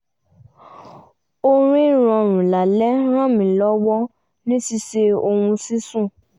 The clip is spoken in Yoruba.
orin rọrùn lálẹ́ ràn mí lọ́wọ́ ní ṣíṣe ohun ṣíṣùn